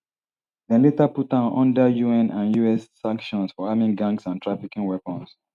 dem later put am under un and us sanctions for arming gangs and trafficking weapons